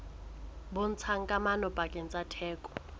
bontshang kamano pakeng tsa theko